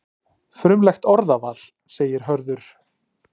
Frumlegt orðaval, segir Hörður.